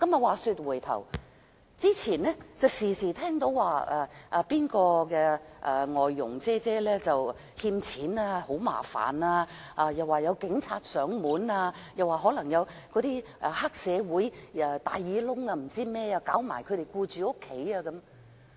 話說回頭，以前經常聽人提及"外傭姐姐"欠人錢，很麻煩；又說有警察上門，又可能有黑社會、"大耳窿"等騷擾其僱主家庭。